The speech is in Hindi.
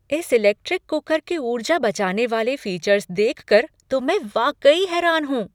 इस इलेक्ट्रिक कुकर के ऊर्जा बचाने वाले फीचर्स देख कर तो मैं वाक़ई हैरान हूँ।